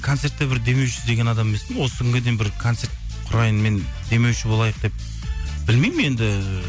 концертте бір демеуші іздеген адам емеспін осы күнге дейін бір концерт құрайын мен демеуші болайық деп білмеймін енді